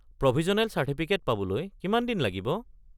Provisional certificate পাবলৈ কিমান দিন লাগিব?